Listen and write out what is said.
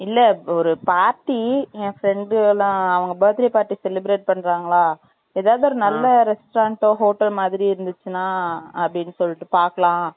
இல்லை ஒரு party என் friend லாம் அவங்க birthday party celebrate பண்றங்கலாம் ஏதாவது ஒரு நல்ல restaurant hotel மாதிரி இருந்துச்சுன்னா அப்படின்னு சொல்லிட்டு பாக்கலாம்